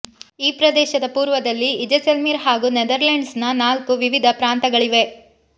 ಈ ಪ್ರದೇಶದ ಪೂರ್ವದಲ್ಲಿ ಇಜೆಸೆಲ್ಮೀರ್ ಹಾಗೂ ನೆದರ್ಲೆಂಡ್ಸ್ನ ನಾಲ್ಕು ವಿವಿಧ ಪ್ರಾಂತಗಳಿವೆ